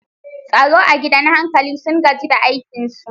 Tsaro a gidan hankali sun gaji da aikinsu.